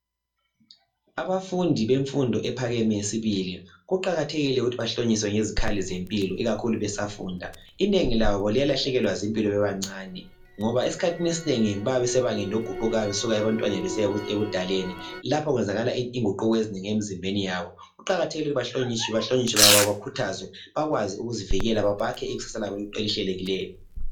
Abafundi bemfundo ephakemeyo sibili kuqakathekile ukuthi bahlonyiswe ngezikhali zempilo ikakhulu besafunda inengi labo liyalahlekelwa zimpilo bebasebancani ngoba esikhathini esinengi bayabe besebangeni eliguqukayo besuka ebantwaneni besiya ebudaleni lapha kwenzakala inguquko ezinengi emzimbeni yabo kuqakathekile ukuthi bahlonyiswe bakhuthazwe bakwazi ukuzivikela babhakhe ikusasa labo elihlelekileyo.